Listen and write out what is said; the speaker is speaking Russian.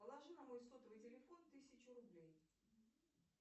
положи на мой сотовый телефон тысячу рублей